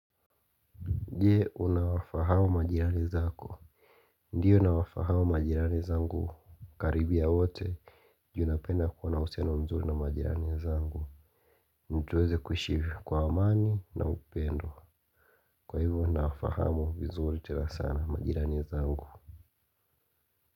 Nje unawafahamu majirani zako. Ndiyo nawafahamu majirani zangu. Karibia wote. Juu napenda kuwana usiano mzuri na majirani zangu. Na tuweze kuishi kwa amani na upendo. Kwa hivyo nawafahamu vizuri tena sana majirani zangu.